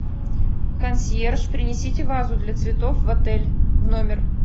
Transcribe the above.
консьерж принесите вазу для цветов в отель в номер